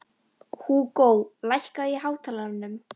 Húgó, lækkaðu í hátalaranum.